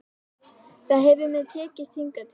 Það hefur mér tekist hingað til.